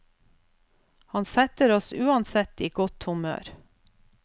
Han setter oss uansett i godt humør.